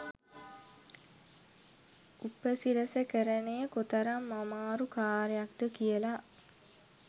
උපසිරසකරණය කොතරම් ආමාරු කාර්යයක්ද කියලා.